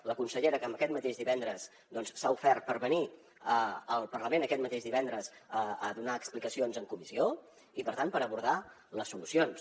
la consellera que aquest mateix divendres s’ha ofert per venir al parlament aquest mateix divendres a donar explicacions en comissió i per tant per abordar les solucions